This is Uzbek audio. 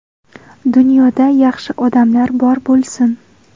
Dunyoda yaxshi odamlar bor bo‘lsin.